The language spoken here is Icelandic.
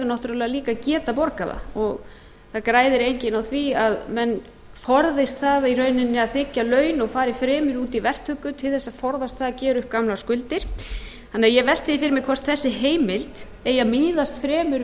náttúrlega líka að geta borgað það það græðir enginn á því að menn forðist það í rauninni að þiggja laun og fari fremur út í verktöku til þess að forðast að gera upp gamlar skuldir ég velti því fyrir mér hvort þessi heimild eigi að miðast fremur